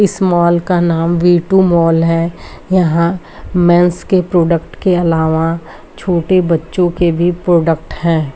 इस मॉल का नाम वी टू मॉल है यहां मेंस के प्रोडक्ट के अलावा छोटे बच्चो के भी प्रोडक्ट है।